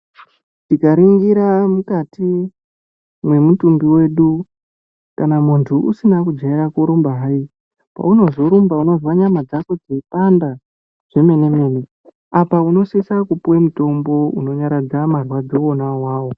Tikaringira mukati mwemutumbi wedu kana muntu usina kujaira kurumba hayi paunozorumba unozwa nyama dzako dzeipanda zvemene mene. Apa unosise kupuwa mutombo unonyaradza marwadzo ona awawo.